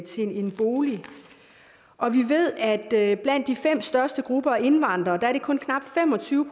til en bolig og vi ved at blandt de fem største grupper af indvandrere er det kun knap fem og tyve